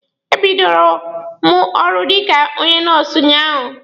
E bidoro mụ ọrụ dịka onye nọọsụ unyaahụ.